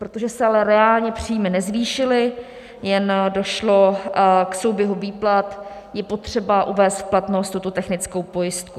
Protože se ale reálně příjmy nezvýšily, jen došlo k souběhu výplat, je potřeba uvést v platnost tuto technickou pojistku.